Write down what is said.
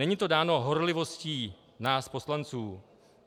Není to dáno horlivostí nás poslanců.